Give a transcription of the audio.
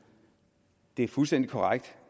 det er fuldstændig korrekt